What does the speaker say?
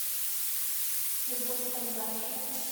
любовь кондрашева